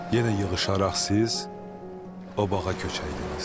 Yenə yığışaraq siz o bağa köçəydiniz.